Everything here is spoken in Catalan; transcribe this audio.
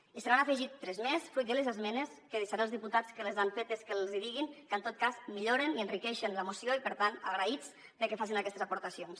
i se n’han afegit tres més fruit de les esmenes que deixaré als diputats que les han fetes que els hi diguin que en tot cas milloren i enriqueixen la moció i per tant agraïts de que facin aquestes aportacions